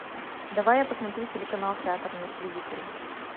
давай я посмотрю телеканал театр на телевизоре